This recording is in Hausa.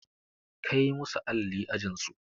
Kai musu alli ajin su!